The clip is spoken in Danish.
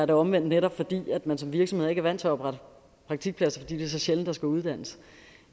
det omvendt netop at man som virksomhed ikke er vant til at oprette praktikpladser fordi det er så sjældent der skal uddannes